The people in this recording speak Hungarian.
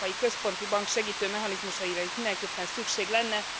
Az Európai Központi Bank segítő mechanizmusaira itt mindenképpen szükség lenne.